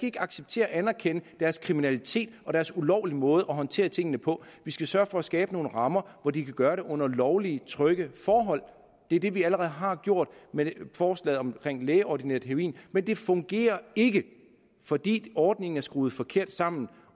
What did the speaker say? ikke acceptere og anerkende deres kriminalitet og deres ulovlige måde at håndtere tingene på vi skal sørge for at skabe nogle rammer hvor de kan gøre det under lovlige og trygge forhold det er det vi allerede har gjort med forslaget omkring lægeordineret heroin men det fungerer ikke fordi ordningen er skruet forkert sammen